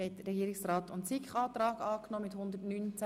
Sie haben den Antrag von Regierungsrat und SiK angenommen.